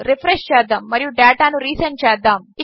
రిఫ్రెష్చేద్దాముమరియుడేటానురీసెండ్చేద్దాము